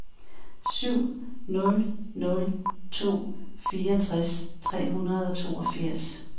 syv nul nul to fireogtres tre hundrede og toogfirs